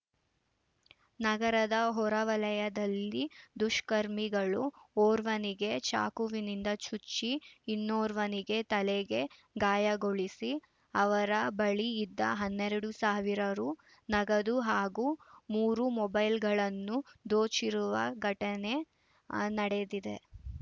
ನಗರದ ಹೊರವಲಯದಲ್ಲಿ ದುಷ್ಕರ್ಮಿಗಳು ಓರ್ವನಿಗೆ ಚಾಕುವಿನಿಂದ ಚುಚ್ಚಿ ಇನ್ನೋರ್ವನಿಗೆ ತಲೆಗೆ ಗಾಯಗೊಳಿಸಿ ಅವರ ಬಳಿ ಇದ್ದ ಹನ್ನೆರಡು ಸಾವಿರ ರು ನಗದು ಹಾಗೂ ಮೂರು ಮೊಬೈಲ್‌ಗಳನ್ನ ದೋಚಿರುವ ಘಟನೆ ನಡೆದಿದೆ